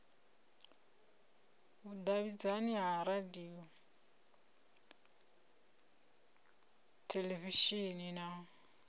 vhudavhidzani ha radio theḽevishini na